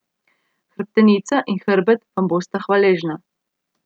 Hrbtenica in hrbet vam bosta hvaležna.